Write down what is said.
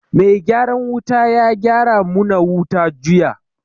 Mai gyaran wuta ya gyara mu na wuta juya